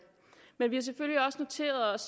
men vi selvfølgelig også noteret